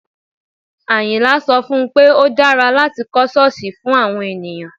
Àyìnlá sọ fún un pé ó dára láti kọ́ ṣọ́ọ̀sì fún àwọn ènìyàn